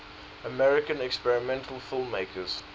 american experimental filmmakers